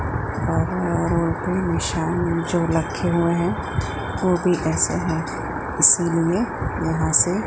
तावा रोटी शाम में जो रखे हुए है ओ भी ऐसे हैं इसलिए यहां से--